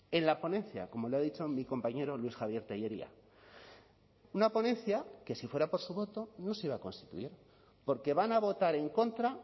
en la ponencia como le ha dicho en mi compañero luis javier tellería una ponencia que si fuera por su voto no se iba a constituir porque van a votar en contra